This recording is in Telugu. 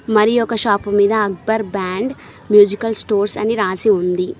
మరి ఒక షాపు మీద అక్బర్ బ్యాండ్ మ్యూజికల్ స్టోర్స్ అని రాసి ఉంది.